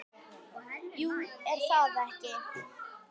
Jú, er það ekki?